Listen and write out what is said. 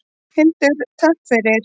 Hildur: Takk fyrir.